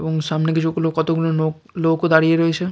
এবং সামনে কিছু গুলো কত গুলো নোক লোক ও দাঁড়িয়ে রয়েছে।